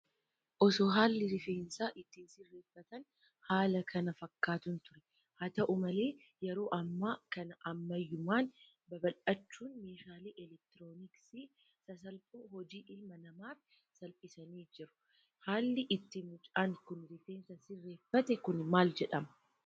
Osoo haalli rifeensa itti sirreeffatan, haala kana fakkaatuun ture. Haa ta'u malee yeroo ammaa kana ammayyummaan babbal'achuun meeshaalee eleektirooniksii sasalphoo hojii ilma namaaf salphisaniiru. Haalli itti mucaan kun rifeensa sirreeffate kun maal jedhama?